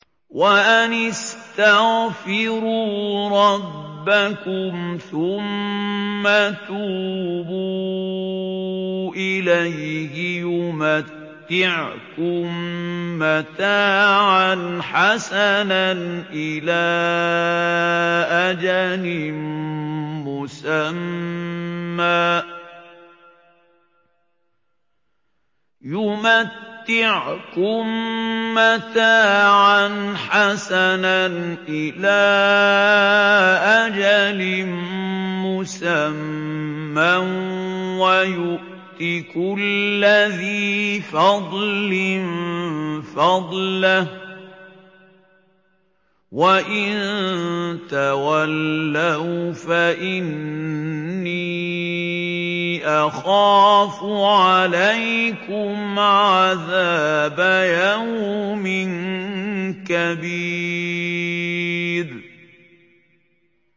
وَأَنِ اسْتَغْفِرُوا رَبَّكُمْ ثُمَّ تُوبُوا إِلَيْهِ يُمَتِّعْكُم مَّتَاعًا حَسَنًا إِلَىٰ أَجَلٍ مُّسَمًّى وَيُؤْتِ كُلَّ ذِي فَضْلٍ فَضْلَهُ ۖ وَإِن تَوَلَّوْا فَإِنِّي أَخَافُ عَلَيْكُمْ عَذَابَ يَوْمٍ كَبِيرٍ